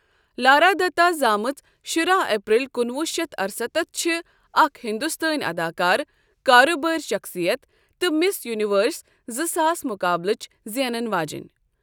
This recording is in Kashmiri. لارا دتہ زامٕژ شُراہ اپریل کُنوُہ شیتھ ارستتھ چھِ اکھ ہندوستٲنی اداکارٕ کارٕبٲرۍ شخصیت تہٕ مِس یونیورس زٕ ساس مقابلٕچ زینَن واجٮ۪ن۔